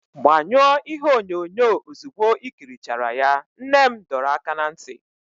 Gbanyụọ ihe onyonyo ozugbo i ikirichara ya, nne m dọrọ aka ná ntị.